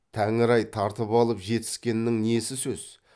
тәңір ай тартып алып жетіскеннің несі сөз